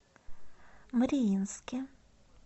мариинске